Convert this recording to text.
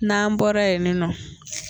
Nan bɔra yen nin nɔ